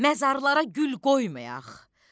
Məzarlara gül qoymayaq.